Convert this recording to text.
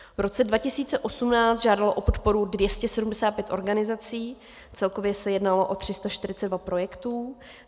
V roce 2018 žádalo o podporu 275 organizací, celkově se jednalo o 342 projektů.